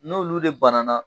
N'olu de bana na